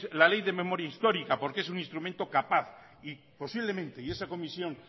la ley de memoria histórica porque es un instrumento capaz y posiblemente y esa comisión